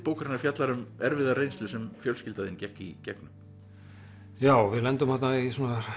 bókarinnar fjallar um erfiða reynslu sem fjölskylda þín gekk í gegnum já við lendum þarna í